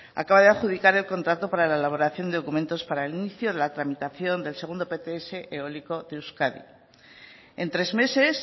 acaba de adjudicar el contrato para la elaboración de documentos para el inicio de la tramitación del segundo pts eólico de euskadi en tres meses